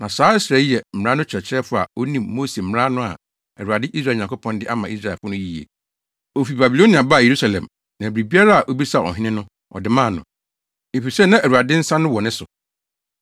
Na saa Ɛsra yi yɛ mmara no kyerɛkyerɛfo a onim Mose mmara no a Awurade, Israel Nyankopɔn, de ama Israelfo no yiye. Ofi Babilonia baa Yerusalem na biribiara a obisaa ɔhene no ɔde maa no, efisɛ na Awurade nsa no wɔ ne so.